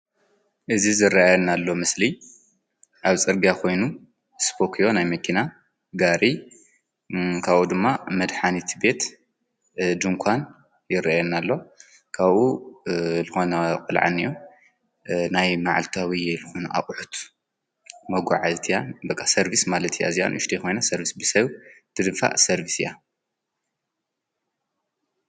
እዝ ዝረያና ኣሎ ምስሊ ኣብ ጸርጋ ኾይኑ ስጶክዮ ኣይ መኪና ጋሪ ካብ ድማ መድኃኒይቲ ቤት ድንቋን ይረአና ኣሎ ካብኡ ልኾነ ቝልዓኒዮ ናይ መዓልታዊ ልኁኑ ኣቕሑት መጕዓ ዝቲያ በቓ ሰርቢስ ማለት ያ እዚያን ይሽዶይኾይና ሰርብስ ብሰዊ ድድፋ ሰርቢስ እያ።